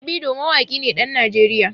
Davido mawaƙi ne ɗan Najeriya.